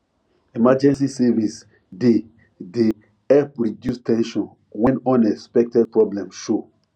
emergency savings dey dey help reduce ten sion when unexpected problem show